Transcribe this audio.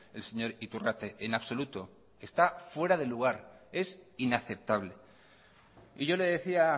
el señor iturrate en absoluto está fuera de lugar es inaceptable y yo le decía